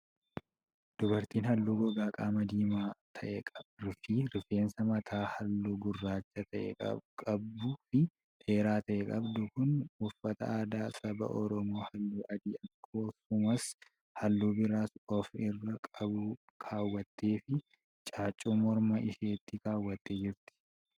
Dubartiin haalluu gogaa qaamaa diimaa ta'ee fi rifeensa mataa haalluu gurraacha ta'e qabuu fi dheeraa ta'e qabdu kun, uffata aadaa saba Oromoo haalluu adii akksumas haalluu biraas of irraa qabu kaawwattee fi caaccuu morma isheetti kaawwattee jirti.